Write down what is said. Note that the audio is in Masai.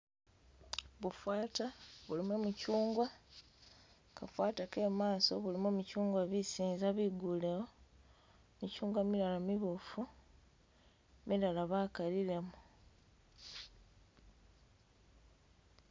Bufata bulimu michungwa kafata kemaso mulimo michungwa bisinza bigulewo michungwa milala mibufu milala bakalilemo